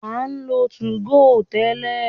A ń lo 2go tẹ́lẹ̀.